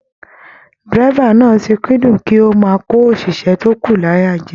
Dírẹ́bà náà ti kúndùn kí o máa ko oṣiṣẹ to kù l'aya jẹ.